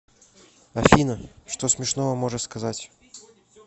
афина что смешного можешь сказать